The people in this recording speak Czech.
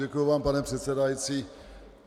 Děkuji vám, pane předsedající.